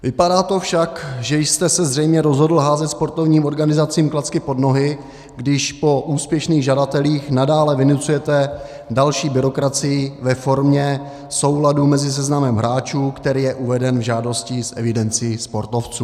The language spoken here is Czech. Vypadá to však, že jste se zřejmě rozhodl házet sportovním organizacím klacky pod nohy, když po úspěšných žadatelích nadále vynucujete další byrokracii ve formě souladu mezi seznamem hráčů, který je uveden v žádosti, s evidencí sportovců.